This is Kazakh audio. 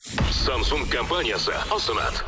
самсунг компаниясы ұсынады